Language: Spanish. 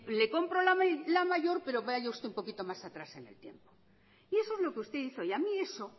le compro la mayor pero vaya usted un poquito más atrás en el tiempo y eso es lo que usted hizo y a mí eso